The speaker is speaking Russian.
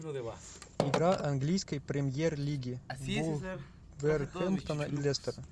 игра английской премьер лиги вулверхэмптона и лестера